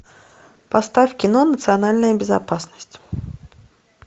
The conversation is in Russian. поставь кино национальная безопасность